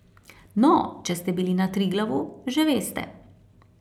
No, če ste bili na Triglavu, že veste.